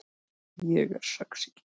Ég er sexý